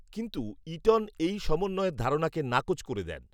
কিন্তু ঈটন এই সমন্বয়ের ধারণাকে নাকচ করে দেন